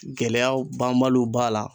Gɛlɛyaw banbaliw b'a la